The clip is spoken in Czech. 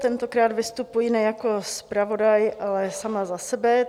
Tentokrát vystupuji ne jako zpravodaj, ale sama za sebe.